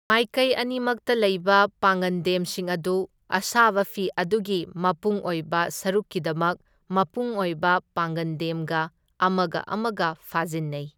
ꯃꯥꯢꯀꯩ ꯑꯅꯤꯃꯛꯇ ꯂꯩꯕ ꯄꯥꯡꯉꯟꯗꯦꯝꯁꯤꯡ ꯑꯗꯨ ꯑꯁꯥꯕ ꯐꯤ ꯑꯗꯨꯒꯤ ꯃꯄꯨꯡꯑꯣꯏꯕ ꯁꯔꯨꯛꯀꯤꯗꯃꯛ ꯃꯄꯨꯡꯑꯣꯏꯕ ꯄꯥꯡꯉꯟꯗꯦꯝꯒ ꯑꯃꯒ ꯑꯃꯒ ꯐꯥꯖꯤꯟꯅꯩ꯫